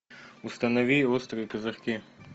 установи острые козырьки